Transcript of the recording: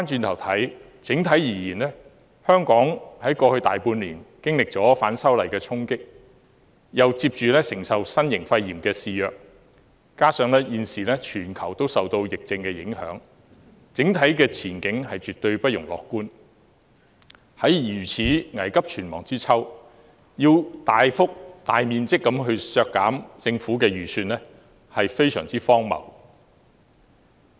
回顧香港在過去大半年經歷了反修例的衝擊，接着又承受新型肺炎的肆虐，加上現時全球也受疫症影響，整體前景絕對不容樂觀，在如此危急存亡之秋，要大幅度削減政府的預算開支是非常荒謬的。